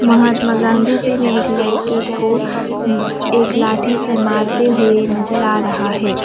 महात्मा गांधी जी ने एक लड़के को एक लाठी से मारते हुए नजर आ रहा है।